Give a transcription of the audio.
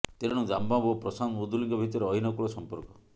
ତେଣୁ ଦାମ ବାବୁ ଓ ପ୍ରଶାନ୍ତ ମୁଦୁଲିଙ୍କ ଭିତରେ ଅହୀନକୂଳ ସଂପର୍କ